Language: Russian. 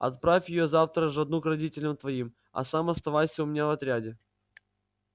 отправь её завтра ж одну к родителям твоим а сам оставайся у меня в отряде